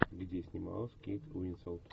где снималась кейт уинслет